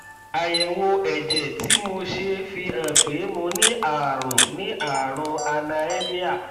àyẹwò ẹjẹ tí mo ṣe fi hàn pé mo ní ààrùn ní ààrùn cs] anaemia